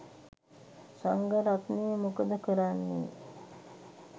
සංඝරත්නය මොකද කරන්නේ?